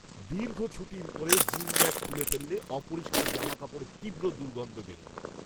দীর্ঘ ছুটির পরে জিম ব্যাগ খুলে ফেললে অপরিষ্কার জামাকাপড়ের তীব্র দুর্গন্ধ বেরোয়।